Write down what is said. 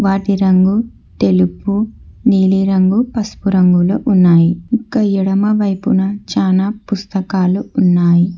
వాటి రంగు తెలుపు నీలిరంగు పసుపు రంగులో ఉన్నాయి ఇంక ఎడమ వైపున చానా పుస్తకాలు ఉన్నాయి.